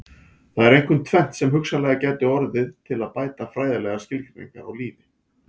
Það er einkum tvennt sem hugsanlega gæti orðið til að bæta fræðilegar skilgreiningar á lífi.